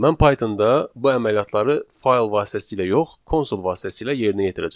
Mən Pythonda bu əməliyyatları fayl vasitəsilə yox, konsol vasitəsilə yerinə yetirəcəm.